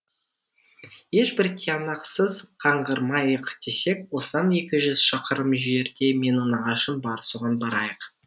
ешбір тиянақсыз қаңғырмайық десек осыдан екі жүз шақырым жерде менің нағашым бар соған барайық